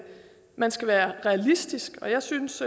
man skal være realistisk og jeg synes